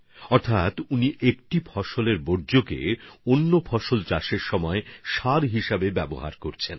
মানে তিনি এক ফসলের বর্জ্যকে আরেক ফসলের সার হিসেবে প্রয়োগ করে ফেলেন